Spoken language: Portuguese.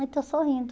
mas estou sorrindo.